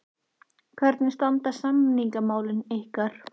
Hvernig standa samningamálin ykkar?